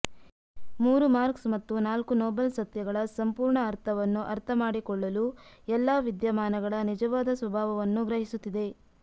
ಮೂರು ಮಾರ್ಕ್ಸ್ ಮತ್ತು ನಾಲ್ಕು ನೋಬಲ್ ಸತ್ಯಗಳ ಸಂಪೂರ್ಣ ಅರ್ಥವನ್ನು ಅರ್ಥಮಾಡಿಕೊಳ್ಳಲು ಎಲ್ಲಾ ವಿದ್ಯಮಾನಗಳ ನಿಜವಾದ ಸ್ವಭಾವವನ್ನು ಗ್ರಹಿಸುತ್ತಿದೆ